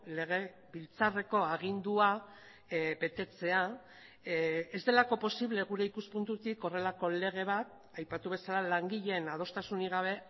legebiltzarreko agindua betetzea ez delako posible gure ikuspuntutik horrelako lege bat aipatu bezala langileen adostasunik gabe